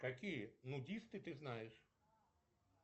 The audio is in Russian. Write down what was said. какие нудисты ты знаешь